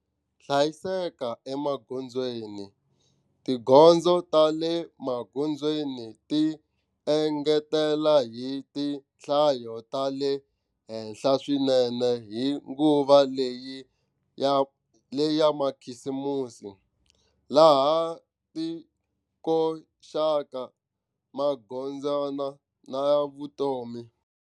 Hlayiseka emagondzweni, tigondzo ta le magondzweni ti engetela hi tinhlayo ta le henhla swinene hi nguva leya makhisimusi, laha ti koxaka magodzana ya vutomi.